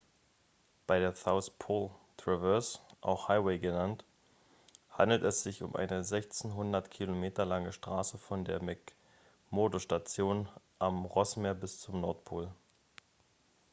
bei der south pole traverse auch highway genannt handelt es sich um eine 1600 km lange straße von der mcmurdo-station am rossmeer bis zum pol